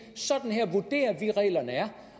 reglerne er